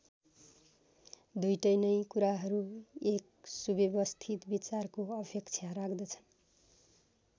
दुईटै नैं कुराहरु एक सुव्यवस्थित विचारको अपेक्षा राख्दछन्।